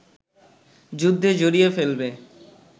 যুদ্ধে জড়িয়ে ফেলবে